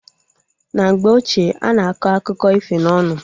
Na mgbe ochie, ana akọ akụkọ ifo na ọnụ